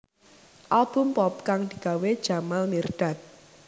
Album pop kang digawé Jamal Mirdad